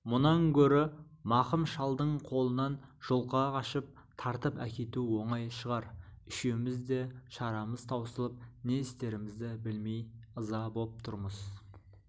мұнан гөрі мақым шалдың қолынан жұлқа қашып тартып әкету оңай шығар үшеуміз де шарамыз таусылып не істерімізді білмей ыза боп тұрмыз